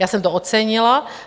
Já jsem to ocenila.